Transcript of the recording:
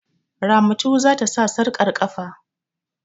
Ramatu za ta sa sarƙar ƙafa.